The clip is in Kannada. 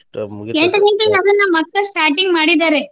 ಎಂಟ್ ಗಂಟೆಕ್ ಅದನ್ನ ಮತ್ತೆ starting ಮಾಡಿದರೆ.